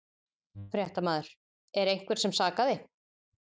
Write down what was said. Fréttamaður: Er einhvern sem sakaði?